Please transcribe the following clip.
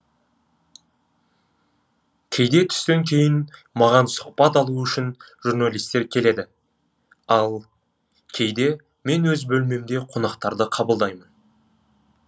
кейде түстен кейін маған сұхбат алу үшін журналистер келеді ал кейде мен өз бөлмемде қонақтарды қабылдаймын